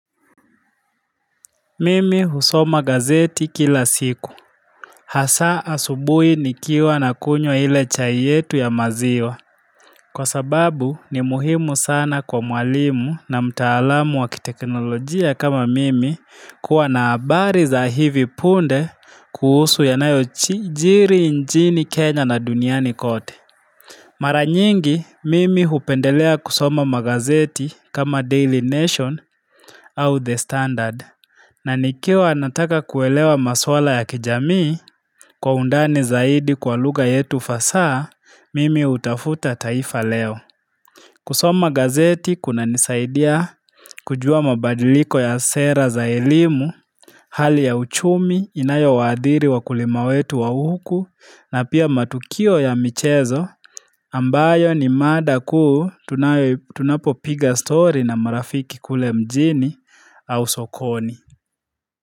Mimi husoma gazeti kila siku Hasaa asubui nikiwa na kunywa ile chai yetu ya maziwa Kwa sababu ni muhimu sana kwa mwalimu na mtaalamu wakiteknolojia kama mimi kuwa na habari za hivi punde kuhusu ya nayojiri nchini Kenya na duniani kote Mara nyingi mimi hupendelea kusoma magazeti kama Daily Nation au The Standard na nikiwa nataka kuelewa maswala ya kijamii kwa undani zaidi kwa lugha yetu fasaha, mimi hutafuta taifa leo. Kusoma gazeti kuna nisaidia kujua mabadiliko ya sera za elimu, hali ya uchumi inayo waadiri wa kulima wetu wa huku na pia matukio ya michezo ambayo ni mada kuu tunayo tunapo piga story na marafiki kule mjini au sokoni.